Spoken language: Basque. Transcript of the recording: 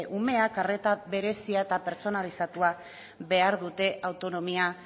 umeek arreta berezia eta pertsonalizatua behar dute autonomia